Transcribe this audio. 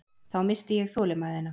Þá missti ég þolinmæðina.